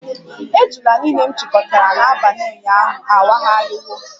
Ejula niile m chịkọtara n'abalị ụnyaahụ awagharịwo